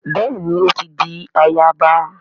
Béèni o ti dì àyaba